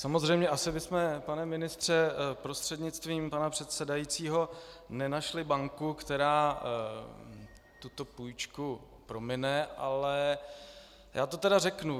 Samozřejmě asi bychom, pane ministře prostřednictvím pana předsedajícího, nenašli banku, která tuto půjčku promine, ale já to tedy řeknu.